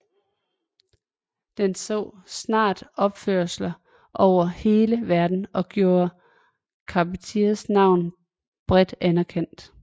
Den så snart opførelser over hele verden og gjorde Charpentiers navn bredt anerkendt